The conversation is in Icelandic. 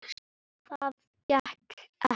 Það gekk ekki